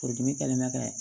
Furudimi kɛlen bɛ ka